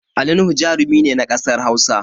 Ali nuhu jarumi ne na ƙasar Hausa